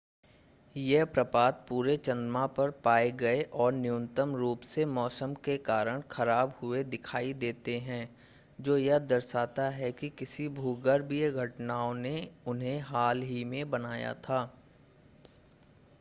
ये प्रपात पूरे चंद्रमा पर पाए गए और न्यूनतम रूप से मौसम के कारण ख़राब हुए दिखाई देते हैं जो यह दर्शाता है कि किसी भूगर्भीय घटनाओं ने उन्हें हाल ही में बनाया था